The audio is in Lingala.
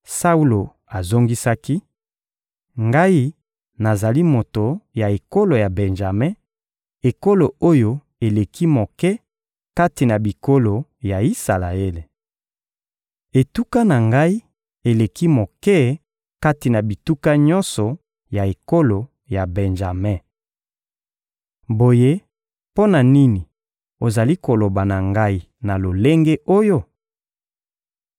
Saulo azongisaki: — Ngai nazali moto ya ekolo ya Benjame, ekolo oyo eleki moke kati na bikolo ya Isalaele. Etuka na ngai eleki moke kati na bituka nyonso ya ekolo ya Benjame. Boye mpo na nini ozali koloba na ngai na lolenge oyo?